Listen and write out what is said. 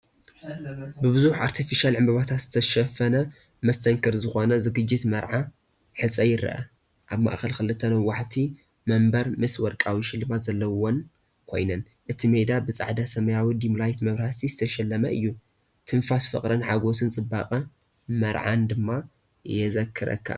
ብብዙሕ ኣርቴፊሻል ዕምባባታት ዝተሸፈነ መስተንክር ዝኾነ ዝግጅት መርዓ/ሕፀ ይርአ። ኣብ ማእከል ክልተ ነዋሕቲ መንበር ምስ ወርቃዊ ሽልማት ዘለወን ኮይነን፡ እቲ ሜዳ ብጻዕዳን ሰማያውን ዲምላይት መብራህቲ ዝተሸለመን እዩ። ትንፋስ ፍቕርን ሓጎስን ጽባቐ መርዓን ድማ የዘክረካ።